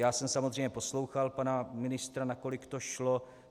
Já jsem samozřejmě poslouchal pana ministra, nakolik to šlo.